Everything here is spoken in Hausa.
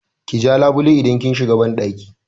Ki ja labule idan kin shiga banɗaki!